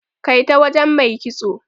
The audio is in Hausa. Kai ta wajen Mai kitso.